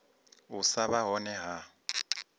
u sa vha hone ha